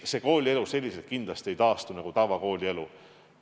Selliselt koolielu kindlasti ei taastu nagu tavakoolielu.